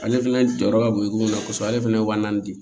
Ale fɛnɛ jɔyɔrɔ ka bon komi kosɔn ale fɛnɛ wa naani di